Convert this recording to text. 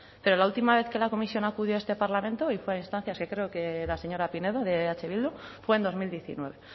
pero la última vez que la comisión acudió a este parlamento y fue a instancia creo de la señora pinedo de eh bildu fue en dos mil diecinueve